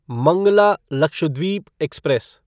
Mangla Lakshadweep express